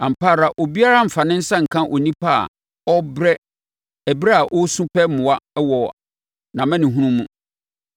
“Ampa ara obiara mfa ne nsa nka onipa a ɔrebrɛ ɛberɛ a ɔresu pɛ mmoa wɔ nʼamanehunu mu.